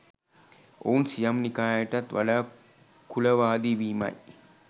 ඔවුන් සියම් නිකායටත් වඩා කුලවාදී වීමයි